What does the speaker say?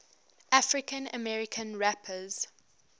african american rappers